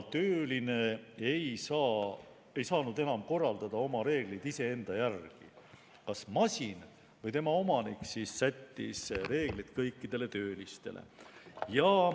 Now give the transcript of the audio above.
Tööline ei saanud enam korraldada oma reegleid iseenda järgi, vaid kas masin või tema omanik sättis reeglid kõikidele töölistele.